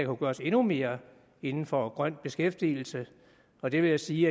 kunne gøres endnu mere inden for grøn beskæftigelse og det vil jeg sige